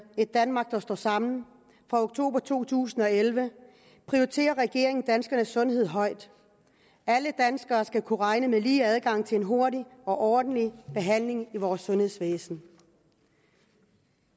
et danmark der står sammen fra oktober to tusind og elleve prioriterer regeringen danskernes sundhed højt alle danskere skal kunne regne med lige adgang til en hurtig og ordentlig behandling i vores sundhedsvæsen